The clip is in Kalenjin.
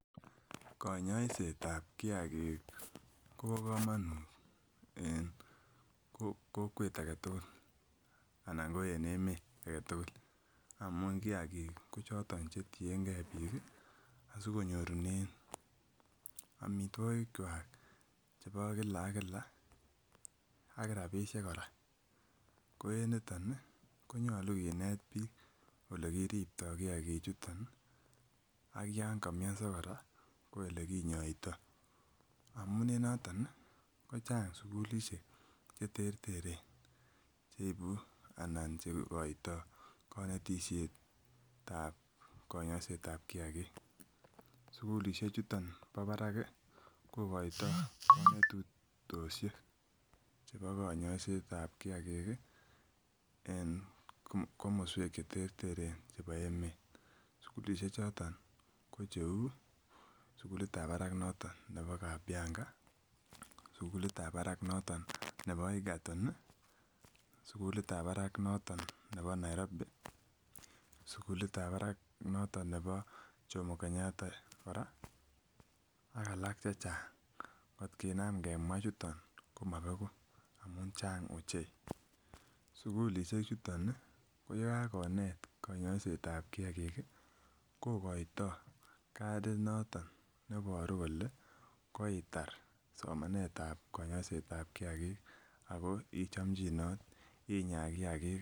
Konyoietab kiagik kobo komonuut en kokwet agetugul amuun kiagik choton chetiege pik sikonyor amituogik en Kila ak kila ak rabisiek kora, ko en nito konyolu kinet bik ole kiribto kiagik ak Yoon ka miaso ko elekinyoita. Amuun en noton kochang sugulisiek che terteren cheibu anan cheikoito konetisietab konyosietab kiagik. Sugulisiek chuton kokoita kanetisisiekab konyosietab kiagik. En komosuek cheterteren chebo emet . Sugulisiekchote ko cheuu , sugulit nebo kabianga, sugulitab barak noton nebo igaton ih ak sugulitab barak noton nebo Nairobi, sugulitab barak noton nebo Nairobi, sugulitab barak noton nebo jomo Kenyatta ak alak chechang at kinaam kemwa chuton komabeku amuun Chang ochei sugulisiek chuton ko yukakonet akobo kiagik kokoito kadit noton neboru kole koitar konyosietab kiagik